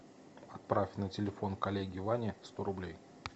отправь на телефон коллеги вани сто рублей